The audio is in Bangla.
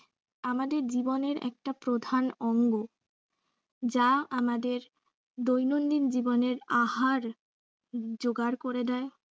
আমাদের জীবনের একটা প্রধান অঙ্গ। যা আমাদের দৈনন্দিন জীবনের আহার যোগাড় করে দেয়।